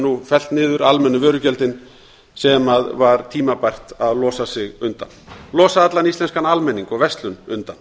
nú fellt niður sem var tímabært að losa sig undan losa allan íslenskan almenning og verslun undan